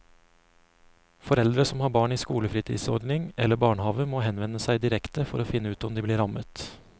Foreldre som har barn i skolefritidsordning eller barnehaver må henvende seg direkte for å finne ut om de blir rammet.